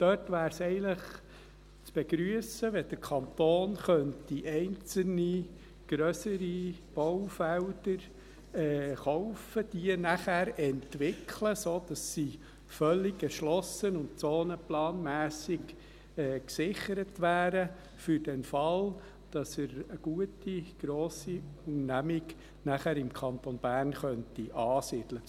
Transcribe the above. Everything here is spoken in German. Dort wäre es eigentlich zu begrüssen, wenn der Kanton einzelne grössere Baufelder kaufen und diese nachher entwickeln könnte, sodass sie völlig erschlossen und zonenplanmässig für den Fall gesichert wären, dass sich eine gute grosse Unternehmung nachher im Kanton Bern ansiedeln könnte.